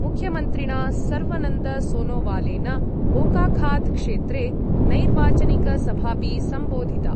मुख्यमन्त्रिणा सर्वानन्दसोनोवालेन बोकाखात् क्षेत्रे नैर्वाचनिकसभापि संबोधिता।